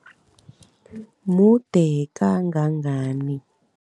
Mude kangangani?